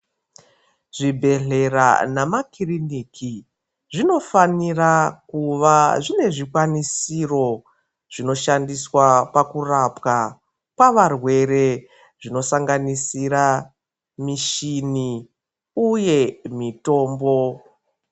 Zvibhedhera nemakiriniki zvinofanira kuva zvine zvikwanisiro zvinoshandiswa pakurapwa kwavarwere, zvinosanganisira michini, uye mitombo.